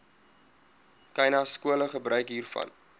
khanyaskole gebruik hiervan